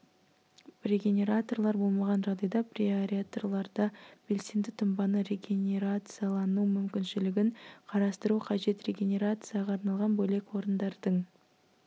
регенераторлар болмаған жағдайда преаэраторларда белсенді тұнбаның регенерациялану мүмкіншілігін қарастыру қажет регенерацияға арналған бөлек орындардың